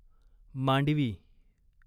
Mandvi